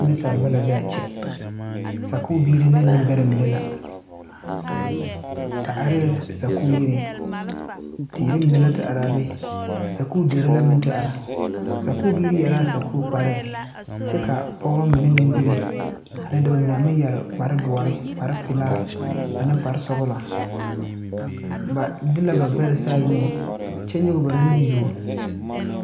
Nensaaleba la be a kyɛ sakubiiri ne nembɛrɛ mine la ba arɛɛ sakuyiriŋ teere mine la te are a be a sakudere la meŋ te are sakubiiri yɛre la a sakukparre kyɛ ka pɔge mine meŋ bebe ane dɔbɔ mine a meŋ yɛre kpardoɔre kaprepelaa ane kparesɔglɔ ba de la ba gbɛre saazuŋ kyɛ nyɔge ba nuuri yuo.